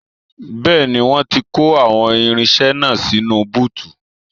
Bẹ́ẹ̀ni, wọ́n ti kó àwọn irinṣẹ́ náà sínú búùtù